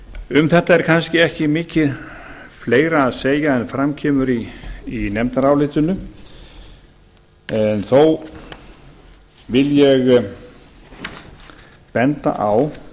um þetta er kannski ekki mikið fleira að segja en fram kemur í nefndarálitinu en þó vil ég benda á